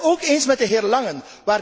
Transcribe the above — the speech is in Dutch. Ik ben het ook eens met de heer Langen.